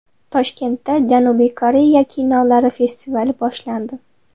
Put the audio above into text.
Toshkentda Janubiy Koreya kinolari festivali boshlandi.